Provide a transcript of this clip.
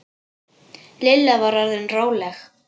Lilla var orðin róleg.